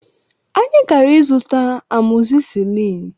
Anyị gara ịzụta amọzisilin